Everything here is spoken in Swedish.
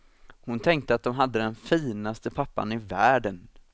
Hon tänkte att de hade den finaste pappan i världen.